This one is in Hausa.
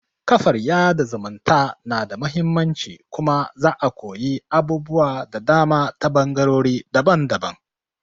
kafar yaɗa zumunta na da muhimmanci kuma za'a koyi abubuwa da dama ta ɓangarori daban-daban